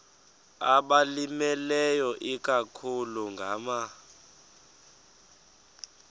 abalimileyo ikakhulu ngama